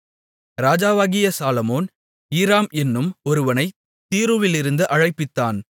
ராஜாவாகிய சாலொமோன் ஈராம் என்னும் ஒருவனைத் தீருவிலிருந்து அழைப்பித்தான்